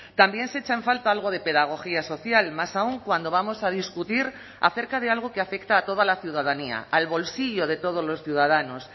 también se echa en falta algo de pedagogía social más aún cuando vamos a discutir acerca de algo que afecta a toda la ciudadanía al bolsillo de todos los ciudadanos